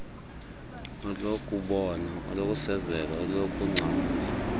olokubona olokusezela olokungcamla